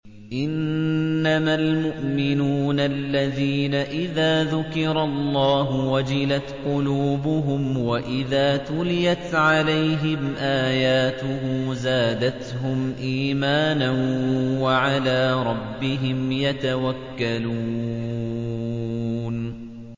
إِنَّمَا الْمُؤْمِنُونَ الَّذِينَ إِذَا ذُكِرَ اللَّهُ وَجِلَتْ قُلُوبُهُمْ وَإِذَا تُلِيَتْ عَلَيْهِمْ آيَاتُهُ زَادَتْهُمْ إِيمَانًا وَعَلَىٰ رَبِّهِمْ يَتَوَكَّلُونَ